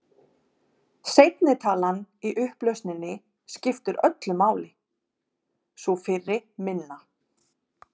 Seinni talan í upplausninni skiptir öllu máli, sú fyrri minna.